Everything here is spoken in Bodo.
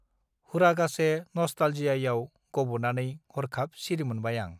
हुरागासे नष्टालजियायाव गबनानै हरखाब सिरिमोनबाय आं